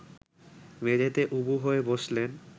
মেঝেতে উবু হয়ে বসলেন